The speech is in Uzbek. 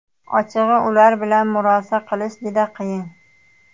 Ochig‘i, ular bilan murosa qilish juda qiyin.